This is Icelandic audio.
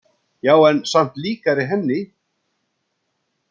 Já, en samt líkari henni.